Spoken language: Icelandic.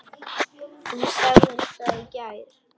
Þú sagðir það í gær.